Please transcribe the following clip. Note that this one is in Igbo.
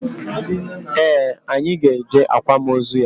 Ee, anyị ga eje akwamozu ya